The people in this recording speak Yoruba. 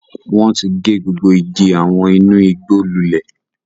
Wọn ti gé gbogbo àwọn igi inú igbó lulẹ̀.